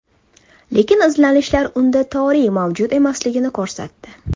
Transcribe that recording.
Lekin izlanishlar unda toriy mavjud emasligini ko‘rsatdi.